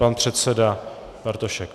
Pan předseda Bartošek.